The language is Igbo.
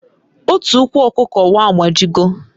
Otu ukwu okuko wa agbajigo